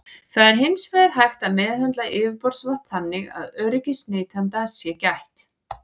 Það er hins vegar hægt að meðhöndla yfirborðsvatn þannig að öryggis neytenda sé gætt.